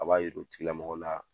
A b'a yir'o tigilamɔgɔ la